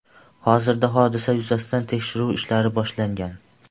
Hozirda hodisa yuzasidan tekshiruv ishlari boshlangan.